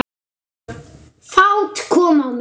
Fát kom á mig.